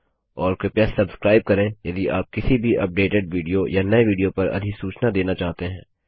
और कृपया सब्स्क्राइब करें यदि आप किसी भी अपडेटेड विडियो या नये विडियो पर अधिसूचना देना चाहते हैं